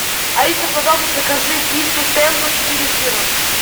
алиса пожалуйста закажи пиццу темпо четыре сыра